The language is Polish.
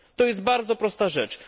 To jest bardzo prosta rzecz.